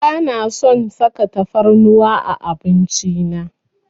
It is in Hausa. Bana son saka tafarnuwa a abinci na.